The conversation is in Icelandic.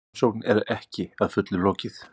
Rannsókn er ekki að fullu lokið